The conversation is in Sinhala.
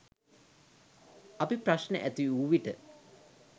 අපි ප්‍රශ්න ඇති වූ විට